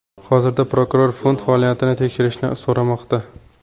Hozirda prokuror fond faoliyatini tekshirishni so‘ramoqda.